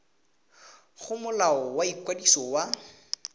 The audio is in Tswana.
go molao wa ikwadiso wa